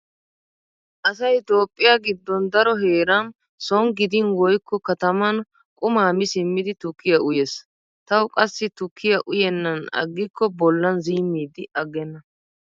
Asay Toophphiya giddon daro heeran soon gidin woykko kataman quma mi simmidi tukkiya uyees. Tawu qassi tukkiya uyennan aggikko bollan ziimmidi aggenna.